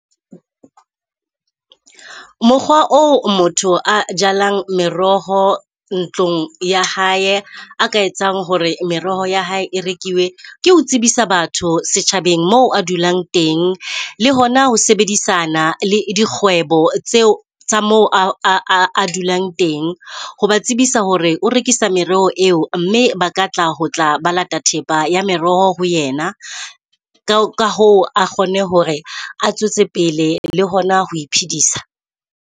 Mokgwa oo motho a jalang meroho ntlong ya hae a ka etsang hore meroho ya hae e rekiwe ke ho tsebisa batho setjhabeng moo a dulang teng. Le hona ho sebedisana le dikgwebo tseo tsa moo a adulang teng. Ho ba tsebisa hore o rekisa mereho eo, mme ba ka tla ho tla ba lata thepa ya meroho ho yena. Ka hoo a kgone hore a tswetse pele le hona ho iphedisa.